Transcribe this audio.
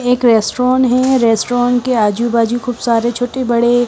एक रेस्टोरेंट है रेस्टोरेंट के आजू-बाजू खूब सारे छोटे-बड़े---